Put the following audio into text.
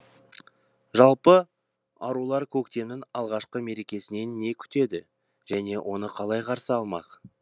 жалпы арулар көктемнің алғашқы мерекесінен не күтеді және оны қалай қарсы алмақ